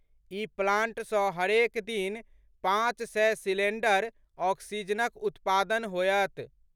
ई plant सँ हरेक दिन पांच सय सिलेंडर ऑक्सीजनक उत्पादन होयत।